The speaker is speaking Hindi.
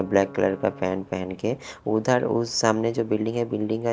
ब्लैक कलर का पेंट पहन के उधर उस सामने जो बिल्डिंग है बिल्डिंग है।